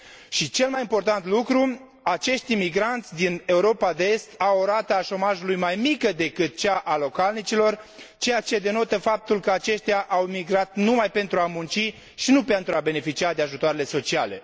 și, cel mai important lucru, acești imigranți din Europa de Est au o rată a șomajului mai mică decât cea a localnicilor, ceea ce denotă faptul că au migrat numai pentru a munci, și nu pentru a beneficia de ajutoarele sociale.